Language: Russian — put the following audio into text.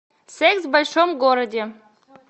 секс в большом городе